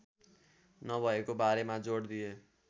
नभएको बारेमा जोड दिए